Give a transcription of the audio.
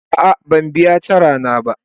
A'a ban biya tara na ba.